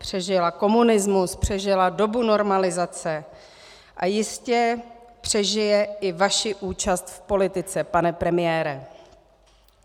Přežila komunismus, přežila dobu normalizace a jistě přežije i vaši účast v politice, pane premiére.